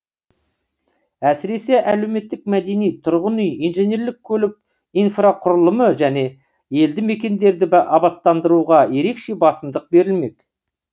әсіресе әлеуметтік мәдени тұрғын үй инженерлік көлік инфрақұрылымы және елді мекендерді абаттандыруға ерекше басымдық берілмек